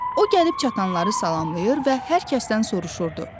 O gəlib çatanları salamlayır və hər kəsdən soruşurdu.